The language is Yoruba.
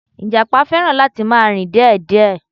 Ìjàpá fẹràn láti ma rìn díè díè